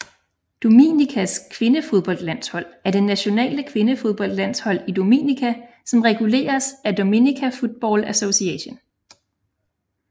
Dominicas kvindefodboldlandshold er det nationale kvindefodboldlandshold i Dominica som reguleres af Dominica Football Association